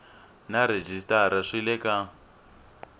na rhejisitara swi le ka